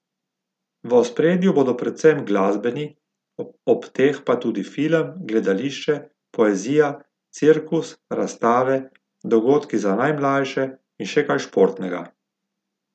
V ospredju bodo predvsem glasbeni, ob teh pa tudi film, gledališče, poezija, cirkus, razstave, dogodki za najmlajše in še kaj športnega.